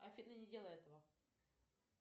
афина не делай этого